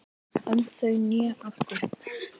Önd þau né áttu